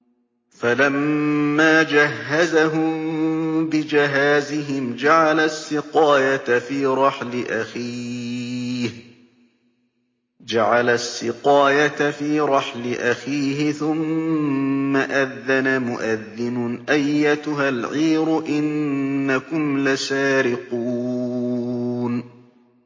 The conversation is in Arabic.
فَلَمَّا جَهَّزَهُم بِجَهَازِهِمْ جَعَلَ السِّقَايَةَ فِي رَحْلِ أَخِيهِ ثُمَّ أَذَّنَ مُؤَذِّنٌ أَيَّتُهَا الْعِيرُ إِنَّكُمْ لَسَارِقُونَ